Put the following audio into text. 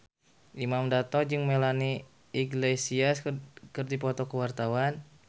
Imam Darto jeung Melanie Iglesias keur dipoto ku wartawan